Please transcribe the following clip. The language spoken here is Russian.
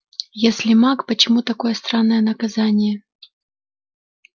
если маг почему такое странное наказание